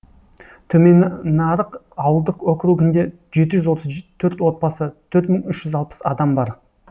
төмен нарық ауылдық округінде жеті жүз отыз төрт отбасы төрт мың үш жүз алпыс адам бар